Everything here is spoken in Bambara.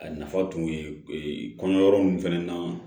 A nafa tun ye kɔɲɔyɔrɔ nunnu fɛnɛ na